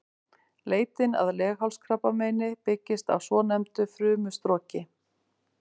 Leitin að leghálskrabbameini byggist á svonefndu frumustroki.